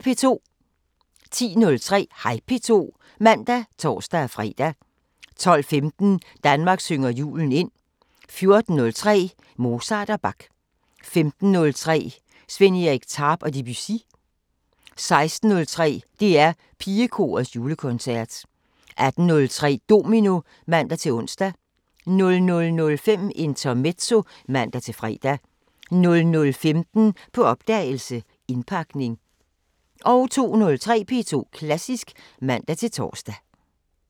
10:03: Hej P2 (man og tor-fre) 12:15: Danmark synger julen ind 14:03: Mozart og Bach 15:03: Sven Erik Tarp og Debussy 16:03: DR PigeKorets julekoncert 18:03: Domino (man-ons) 00:05: Intermezzo (man-fre) 00:15: På opdagelse – Indpakning 02:03: P2 Klassisk (man-tor)